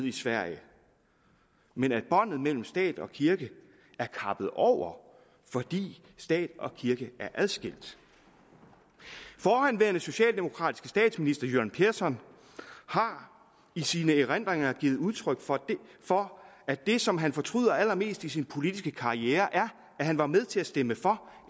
i sverige men at båndet mellem stat og kirke er kappet over fordi stat og kirke er adskilt forhenværende socialdemokratiske statsminister göran persson har i sine erindringer givet udtryk for at det som han fortryder allermest i sin politiske karriere er at han var med til at stemme for